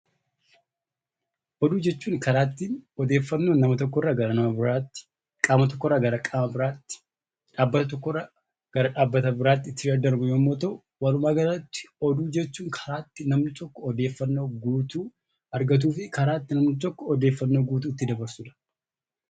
Oduu jechuun karaa ittiin odeeffannoon nama tokkorraa gara nama biraatti, qaama tokkorraa gara qaama biraatti, dhaabbata tokkorraa gara dhaabbata biraatti itti daddarbu yommuu ta'u, walumaagalatti oduu jechuun karaa itti namni tokko odeeffannoo guutuu argatuu fi karaa itti namni tokko odeeffannoo guutuu itti dabarsuu dha.